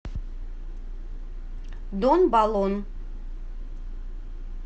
дон баллон